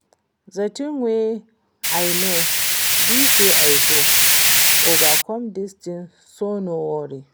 The thing wey I know be say I go overcome dis thing so no worry